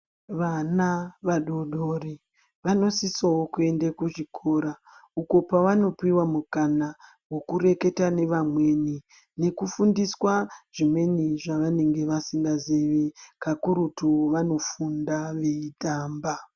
Vana vadoodori vanosisawo kuende kuchikora uko pevanopiwa mukana wekureketa nevamweni, nekufundiswa zvimweni zvevanenge vasingazivi. Kakurutu vanofunda veitamba.